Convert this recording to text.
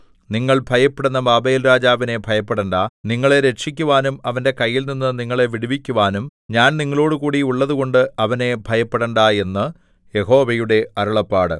നിങ്ങൾ ഭയപ്പെടുന്ന ബാബേൽരാജാവിനെ ഭയപ്പെടണ്ടാ നിങ്ങളെ രക്ഷിക്കുവാനും അവന്റെ കൈയിൽനിന്ന് നിങ്ങളെ വിടുവിക്കുവാനും ഞാൻ നിങ്ങളോടുകൂടി ഉള്ളതുകൊണ്ട് അവനെ ഭയപ്പെടണ്ടാ എന്ന് യഹോവയുടെ അരുളപ്പാട്